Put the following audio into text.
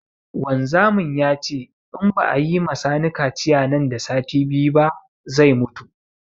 Wanzamin yace in ba a yima sani kaciya nan da sati biyu ba zai mutu